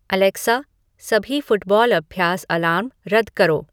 Alexa सभी football अभ्यास alarm रद्द करो